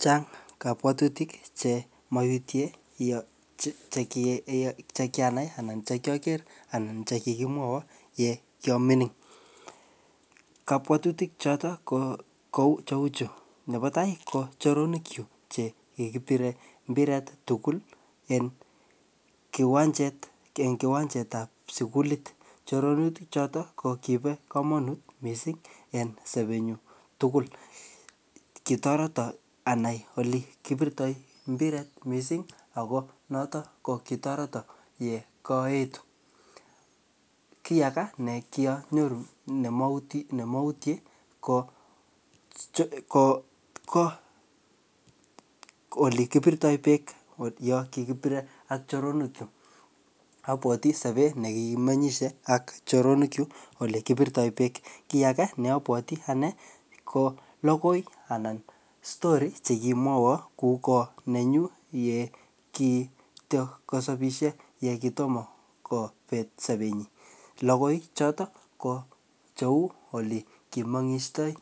Chang kabwatutik che maiutie ye che-che, ye che kianai anan che kiaker anan che kikimwaiwo ye kia mining. Kabwatutik chotok ko kou cheu chuu. Nebo tai ko choronok chuk che kikipire tugul en kiwanjet, eng kiwanjet ap sukulit. Choronutik ko kibo komonut missing en sobet nyu tugul. Kitoreto anai ole kipirtoi mpiret missing ako notok ko kitoreto ye kaetu. Kiy aga ne kianyoru ne mautie, me mautie ko-ko-ko ole kipirtoi beek yo kikipire ak choronok chuk. Abwoti sobet ne kikimenyishei ak choronok chuk ole kipirtoi beek. Kiy aga ne abwoti anee, ko logoi anan story che kimwaiwo kogo nenyu yekitoko sabisie ye kitomo kobet sobet nyi. Logoi chotok ko cheu ye kimengistoi